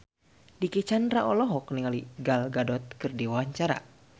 Dicky Chandra olohok ningali Gal Gadot keur diwawancara